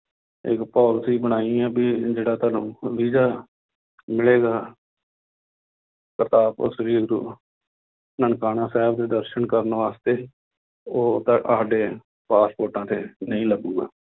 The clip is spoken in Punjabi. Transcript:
ਇੱਕ policy ਬਣਾਈ ਹੈ ਵੀ ਇਹ ਜਿਹੜਾ ਤੁਹਾਨੂੰ ਵੀਜ਼ਾ ਮਿਲੇਗਾ ਕਰਤਾਰਪੁਰ ਸ੍ਰੀ ਗੁਰੂ ਨਨਕਾਣਾ ਸਾਹਿਬ ਦੇ ਦਰਸਨ ਕਰਨ ਵਾਸਤੇ ਉਹ ਤੁਹਾਡੇ ਪਾਸਪੋਰਟਾਂ ਤੇ ਨਹੀਂ ਲੱਗੇਗਾ